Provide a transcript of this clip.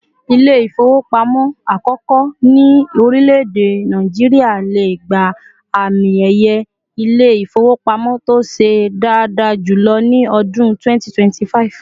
İle-ifowopamo àkókò ni orìleede Nigeria lè gbà àmín ẹyẹ Ilé-ifowopamo tó ṣe daada julọ ni ọdún 2025